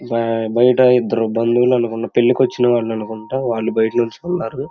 బైట ఇద్దరు బలోలు అనుకుంటా పెళ్ళికి వచ్చిన వాళ్ళు అనుకుంటా వాళ్ళు బైట నిల్చుకొని ఉన్నారు.